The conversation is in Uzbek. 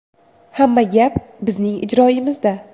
Hamma gap bizning ijroyimizda.